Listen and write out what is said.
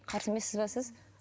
қарсы емессіз бе сіз